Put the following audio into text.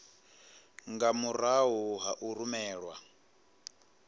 nga murahu ha u rumelwa